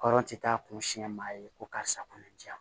Hɔrɔn tɛ taa kun siɲɛ maa ye ko karisa kunna diya